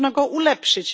Można go ulepszyć.